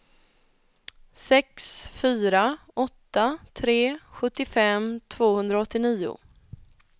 sex fyra åtta tre sjuttiofem tvåhundraåttionio